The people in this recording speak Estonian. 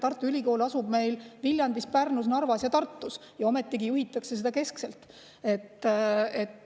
Tartu Ülikool asub Viljandis, Pärnus, Narvas ja Tartus ja ometigi juhitakse seda keskselt.